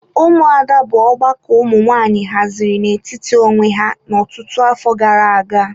Ụmụada bụ ọgbakọ ụmụ nwanyị haziri n'etiti onwe ha ọtụtụ afọ gara aga.